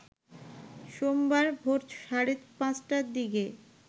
সোমবার ভোর সাড়ে ৫টার দিকে